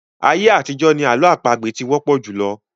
Ayé àtijọ́ ni àlọ́ àpagbè ti wọ́pọ̀ jùlọ.